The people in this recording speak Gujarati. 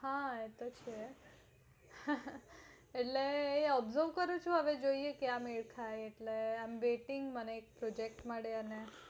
હા એતો છે એટલે observe કરું છુ હવે જોયે ક્યાં મેલ ખાય એટલે i am waiting મને એક project મળે